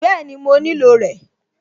Bẹ́ẹ̀ni, mo nílò rẹ̀